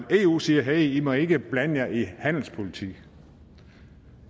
eu siger hey i må ikke blande jer i handelspolitik